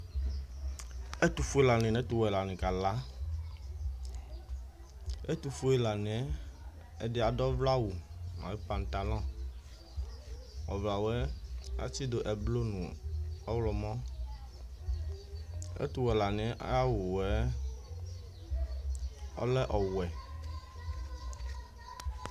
ɛtofue la ni no ɛtowɛ la ni kala ɛtofue la niɛ ɛdi ado ɔvlɛ awu no pantalɔ ɔvlɛ awuɛ atsi do ublɔ no ɔwlɔmɔ ɛtowɛ la niɛ ay'awuɛ ɔlɛ ɔwɛ